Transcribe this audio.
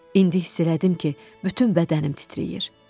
İndi hiss elədim ki, bütün bədənim titrəyir.